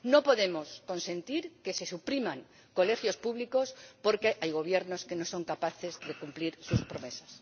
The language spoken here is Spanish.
No podemos consentir que se supriman colegios públicos porque hay gobiernos que no son capaces de cumplir sus promesas.